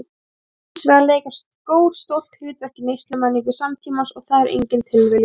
Hins vegar leika skór stórt hlutverk í neyslumenningu samtímans og það er engin tilviljun.